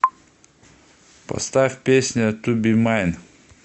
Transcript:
поставь песня ту би майн